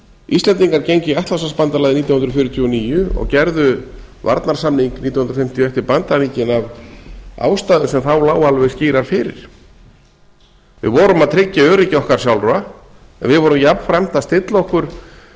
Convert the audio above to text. íslendingar gengu í atlantshafsbandalagið nítján hundruð fjörutíu og níu og gerðu varnarsamning nítján hundruð fimmtíu og eitt við bandaríkin af ástæðum sem þá lágu alveg skýrar fyrir við vorum að tryggja öryggi okkar sjálfra við vorum jafnframt að stilla okkur